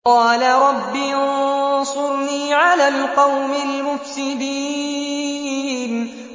قَالَ رَبِّ انصُرْنِي عَلَى الْقَوْمِ الْمُفْسِدِينَ